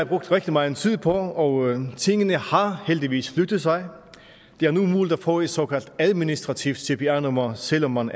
brugt rigtig meget tid på og tingene har heldigvis flyttet sig det er nu muligt at få et såkaldt administrativt cpr nummer selv om man